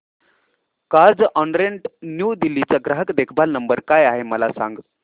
Carzonrent New Delhi चा ग्राहक देखभाल नंबर काय आहे मला सांग